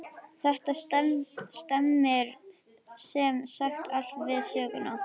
Þetta stemmir sem sagt allt við söguna.